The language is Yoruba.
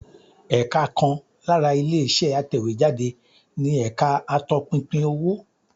Ẹ̀ka kan lára ilé-iṣẹ́ atẹ̀wéjáde ni ẹ̀ka atọpinpin owó.